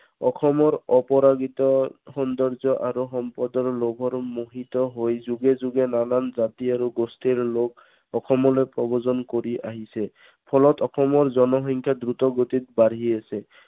অসমৰ অপৰাজিত সৌন্দৰ্য আৰু সম্পদৰ লোভত মোহিত হৈ যুগে যুগে নানান জাতি আৰু গোষ্ঠীৰ লোক সমূহে প্ৰৱজন কৰি আহিছে। ফলত অসমৰ জনসংখ্যা দ্ৰুতগতিত বাঢ়ি আহিছে।